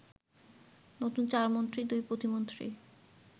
নতুন চার মন্ত্রী, দুই প্রতিমন্ত্রি